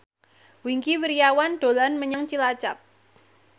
Wingky Wiryawan dolan menyang Cilacap